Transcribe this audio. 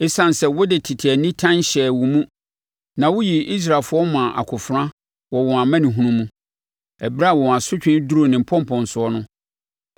“ ‘Esiane sɛ wode tete nitan hyɛɛ wo mu na woyii Israelfoɔ maa akofena wɔ wɔn amanehunu mu, ɛberɛ a wɔn asotwe duruu ne mpɔnpɔnsoɔ no